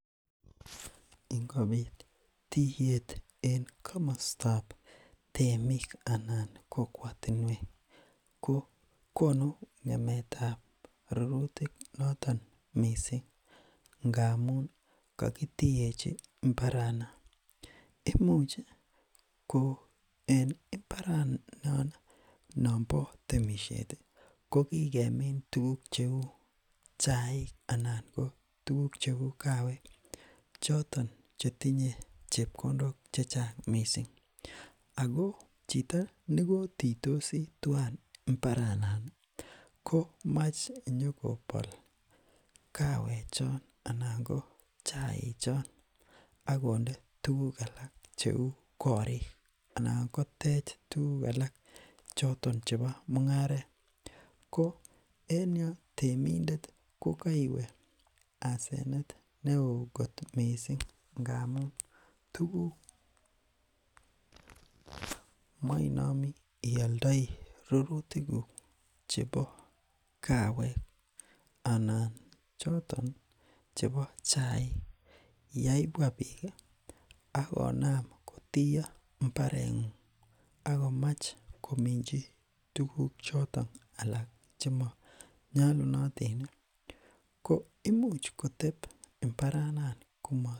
ingobit tiyet en komostab temik anan kokwotinwek kokonu ngemetab rurutik noton mising amun kokitiyechi mbaranon imuch ko en mbaranon nombo temisheti kokikemin tuguk cheu chaik anan ko tuguk kaawek choton che tinye chepkondok chechang mising ako chito nekotiitosi mbaranon komoche nyokobol kaawe choon anan koo chai choon akonde tuguk alak cheu korik anan kotech tuguk alak choton chebo mungaret ko en yoon temindet kokeiwe asenet neoo kot mising ngamun tuguk[um] moinomi ioldoi rurutikuk chebo kaawek anan choton chebo chaik yebwa biik akonam kotiyo mbarengung akomach kominchi tuguk choton alak chemonyolunotini ko imuch koteb mbaranon koma